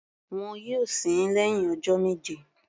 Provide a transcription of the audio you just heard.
Wọn yóò sin ín lẹ́hìn ọjọ́ méje.